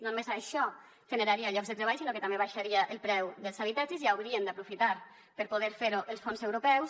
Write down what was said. no només això generaria llocs de treball sinó que també baixaria el preu dels habitatges i haurien d’aprofitar per poder fer ho amb els fons europeus